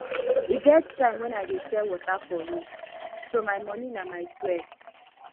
e get time wen i dey sell water for road so my money na my sweat